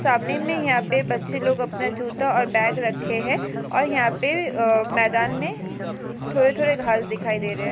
सामने में यहाँ पे बच्चे लोग अपना जूता और बैग रखे है और यहाँ पे अ मैदान मे थोड़े-थोड़े घास दिखाई दे रहे है।